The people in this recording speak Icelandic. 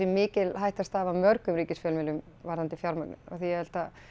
mikil hætta steðji að mörgum ríkisfjölmiðlum varðandi fjármögnum því ég held að